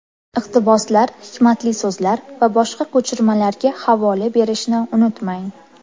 Iqtiboslar, hikmatli so‘zlar va boshqa ko‘chirmalarga havola berishni unutmang.